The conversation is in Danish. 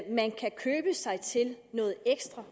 at man kan købe sig til noget ekstra